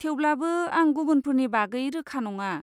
थेवब्लाबो, आं गुबुनफोरनि बागै रोखा नङा।